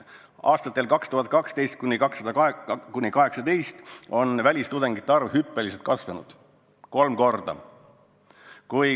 Aastatel 2012–2018 on välistudengite arv hüppeliselt kasvanud, kolm korda.